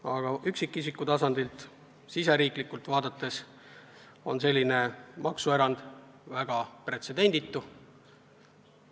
Aga üksikisiku tasandilt, riiklikult lähenedes on selline maksuerand väga pretsedenditu.